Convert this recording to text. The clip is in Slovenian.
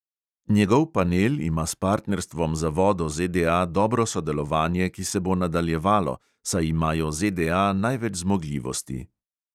Njegov panel ima s partnerstvom za vodo ZDA dobro sodelovanje, ki se bo nadaljevalo, saj imajo ZDA največ zmogljivosti.